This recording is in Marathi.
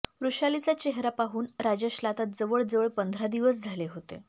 वृषालीचा चेहेरा पाहून राजेशला आता जवळजवळ पंधरा दिवस झाले होते